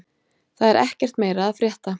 Það er ekkert meira að frétta